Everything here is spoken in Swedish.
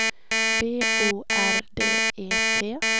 B O R D E T